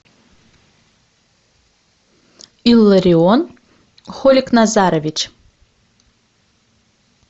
илларион холикназарович